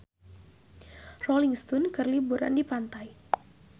Rolling Stone keur liburan di pantai